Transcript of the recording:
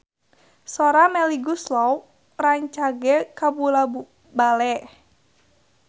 Sora Melly Goeslaw rancage kabula-bale